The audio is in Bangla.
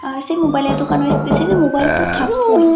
পাশে মোবাইলের দোকান মোবাইল তো থাকবোই।